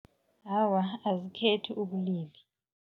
Awa, azikhethi ubulili.